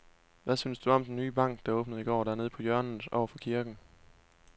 Hvad synes du om den nye bank, der åbnede i går dernede på hjørnet over for kirken?